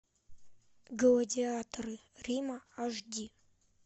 гладиаторы рима аш ди